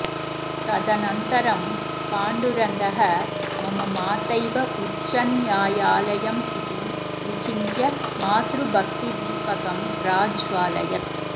तदनन्तरं पाण्डुरङ्गः मम मातैव उच्चन्यायालयमिति विचिन्त्य मातृभक्तिदीपकं प्राज्वालयत्